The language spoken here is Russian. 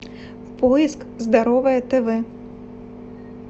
поиск здоровое тв